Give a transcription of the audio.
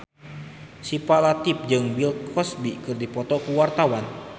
Syifa Latief jeung Bill Cosby keur dipoto ku wartawan